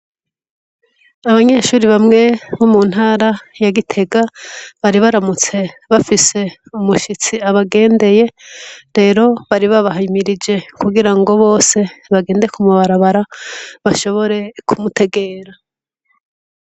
Abanyeshure bamwe bo muntara ya gitega bari baramutse bafise umushitsi abagendeye rero baribaba himirije kugirango bose bagende kuma barabara bashobore kumutegera.